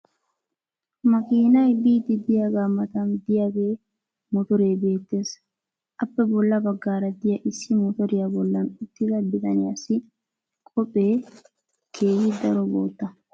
Makiinay biidi diyaagaa matan diyaagee motoree beettees. appe bolla bagaara diya issi motoriya bollan uttida bitanniyassi koppiyee keehi daro bootta.